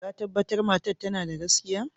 Ka tabatar matan tana da gaskiya?